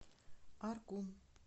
аргун